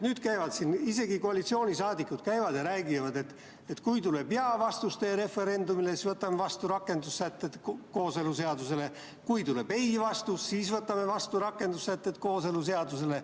Nüüd isegi koalitsiooni liikmed käivad ja räägivad, et kui referendumil tuleb jaa‑vastus, siis võtame vastu kooseluseaduse rakendussätted, kui tuleb ei‑vastus, siis võtame vastu kooseluseaduse rakendussätted.